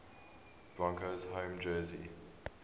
broncos home jersey